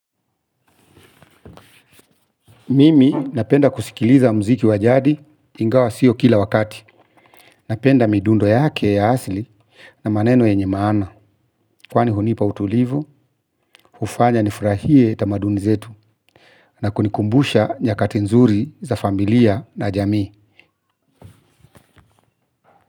Mimi napenda kusikiliza muziki wa jadi ingawa sio kila wakati. Napenda midundo yake ya asili na maneno yenye maana kwani hunipa utulivu, ufanya nifurahie tamaduni zetu na kunikumbusha nyakati nzuri za familia na jamii.